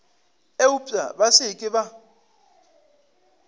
eupša ba se ke ba